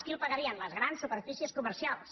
qui el pagaria les grans superfícies comercials